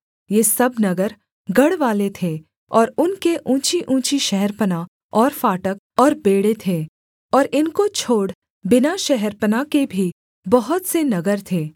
ये सब नगर गढ़वाले थे और उनके ऊँचीऊँची शहरपनाह और फाटक और बेंड़े थे और इनको छोड़ बिना शहरपनाह के भी बहुत से नगर थे